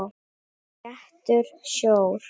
Sléttur sjór.